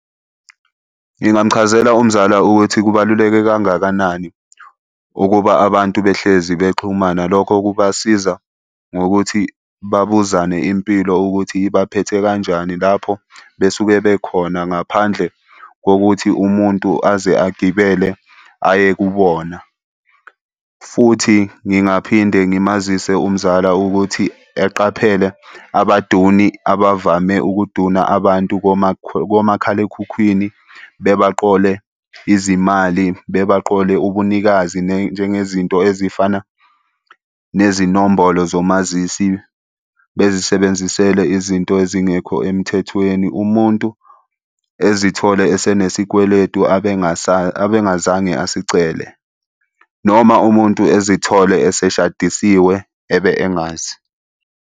Ngingamuchazela umzala ukuthi kubaluleke kangakanani ukuba abantu behlezi bexhumana. Lokho kubasiza ngokuthi babuzane impilo ukuthi ibaphethe kanjani lapho besuke bekhona ngaphandle kokuthi umuntu aze agibele aye kubona, futhi ngingaphinde ngimazise umzala ukuthi eqaphele abaduni abavame ukuduna abantu komakhalekhukhwini bebaqole izimali, bebaqole ubunikazi njengezinto ezifana nezinombolo zomazisi bezisebenzisele izinto ezingekho emthethweni. Umuntu ezithole esenesikweletu abengazange asicele, noma umuntu ezithole eseshadisiwe ebe engazi.